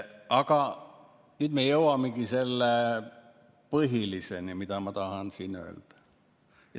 Aga nüüd me jõuamegi selle põhiliseni, mida ma tahan öelda.